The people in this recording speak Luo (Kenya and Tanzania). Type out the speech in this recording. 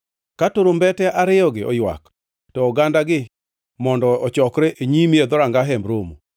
Ka turumbete ariyogi oywak, to ogandagi mondo ochokre e nyimi e dhoranga Hemb Romo.